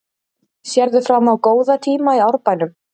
Sérðu fram á góða tíma í Árbænum?